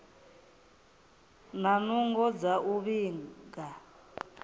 na nungo dza u vhiga